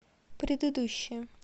предыдущая